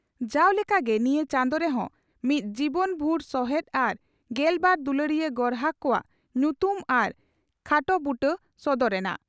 ᱡᱟᱣ ᱞᱮᱠᱜᱮ ᱱᱤᱭᱟᱹ ᱪᱟᱸᱫᱚ ᱨᱮ ᱦᱚᱸ ᱢᱤᱫ ᱡᱤᱵᱚᱱ ᱵᱷᱩᱨ ᱥᱚᱦᱮᱫ ᱟᱨ ᱜᱮᱞᱵᱟᱨ ᱫᱩᱞᱟᱹᱲᱤᱭᱟᱹ ᱜᱚᱨᱦᱟᱠ ᱠᱚᱣᱟᱜ ᱧᱩᱛᱩᱢ ᱟᱨ ᱠ ᱦᱟᱴᱚ ᱵᱩᱴᱟᱹ ᱥᱚᱫᱚᱨ ᱮᱱᱟ ᱾